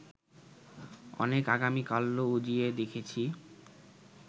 অনেক আগামীকাল্য উজিয়ে দেখেছি